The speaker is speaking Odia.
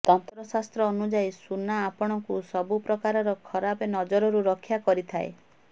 ତନ୍ତ୍ର ଶାସ୍ତ୍ର ଅନୁଯାୟୀ ସୁନା ଆପଣଙ୍କୁ ସବୁ ପ୍ରକାରର ଖରାପ ନଜରରୁ ରକ୍ଷା କରିଥାଏ